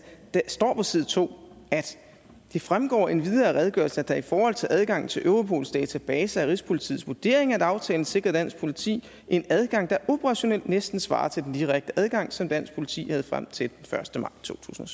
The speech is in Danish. der står på side 2 det fremgår endvidere af redegørelsen at det i forhold til adgangen til europols databaser er rigspolitiets vurdering at aftalen sikrer dansk politi en adgang der operationelt næsten svarer til den direkte adgang som dansk politi havde frem til den første maj to tusind